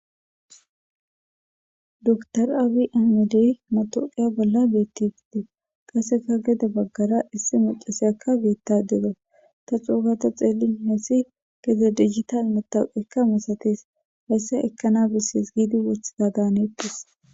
dr abi amidey matoqiya bolla beetti giide qasseka gede baggara issi mucase akka geetta dega ta xuugata xeellin heessi keze digital metawqekka misatees haysse ekkana bessees giidi worthida daaneeppes